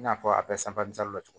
I n'a fɔ a bɛ la cogo min na